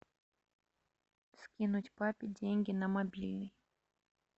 скинуть папе деньги на мобильный